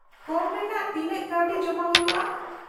-ᱠᱚᱢ ᱨᱮᱱᱟᱜ ᱛᱤᱱᱟᱹᱜ ᱠᱟᱣᱰᱤ ᱡᱚᱢᱟ ᱦᱩᱭᱩᱜᱼᱟ ?